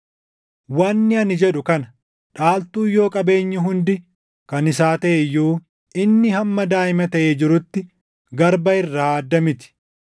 Wanni ani jedhu kana; dhaaltuun yoo qabeenyi hundi kan isaa taʼe iyyuu inni hamma daaʼima taʼee jirutti garba irraa adda miti.